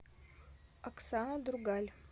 оксана другаль